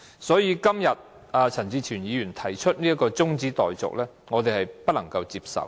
所以，陳志全議員今天提出這項中止待續議案，我們不能夠接受。